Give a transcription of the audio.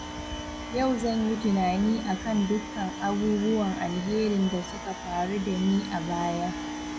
Yau zan yi tunani akan dukkan abubuwan alherin da suka faru da ni a baya.